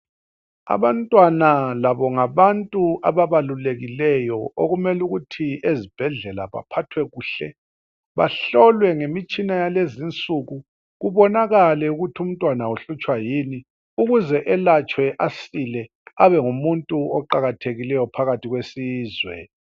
Abantwana labo ngabantu abaqakathekileyo okumele ukuthi ezibhedlela baphathwe kuhle bahlolwe ngemitshina yalezi nsuku ukuze kubonakale ukuthi umntwana uhlutshwa yini ukuze elatshwe asile abengumuntu oqakathekileyo phakathi kwesizwe.